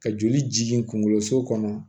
Ka joli jigin kunkolo so kɔnɔ